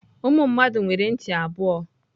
Ụmụ mmadụ nwere ntị abụọ.